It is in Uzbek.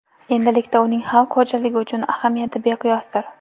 Endilikda uning xalq xo‘jaligi uchun ahamiyati beqiyosdir.